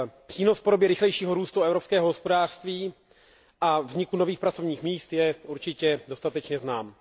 Přínos v podobě rychlejšího růstu evropského hospodářství a vzniku nových pracovních míst je určitě dostatečně znám.